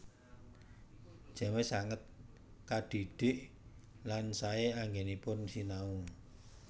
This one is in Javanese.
James sanget kadhidhik lan saé anggènipun sinau